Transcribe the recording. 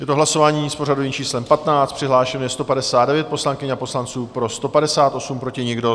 Je to hlasování s pořadovým číslem 15, přihlášeno je 159 poslankyň a poslanců, pro 158, proti nikdo.